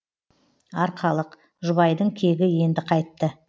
арқалық жұбайдың кегі енді қайтты